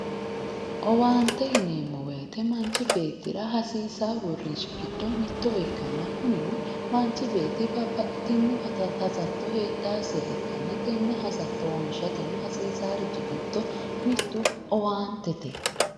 Owaante yineemmo woyiite manchi beettira hasiissaa uurrinsha giddo mitto ikkanna kunino manchi beetti babbaxitinno hasatto heedhaasiha ikkanna tenne hasatto wonshateno hasiisaarichi giddo mittu owaantete.